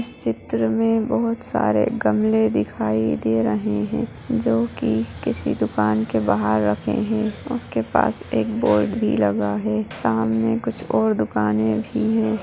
इस चित्र में बहुत सारे गमले दिखाई दे रहे हैं जो कि किसी दुकान के बाहार रखे हैं उसके पास एक बोर्ड भी लगा है सामने कुछ और दुकाने भी हैं।